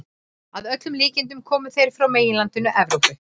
Að öllum líkindum komu þeir frá meginlandi Evrópu.